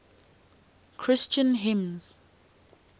christian hymns